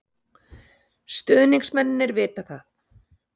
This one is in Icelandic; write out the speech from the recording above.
Stuðningsmennirnir vita það.